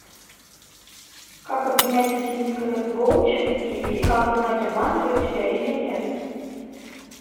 как обменять скин в ксго через киви и как узнать обманывают тебя или нет